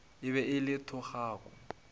e be e le thogako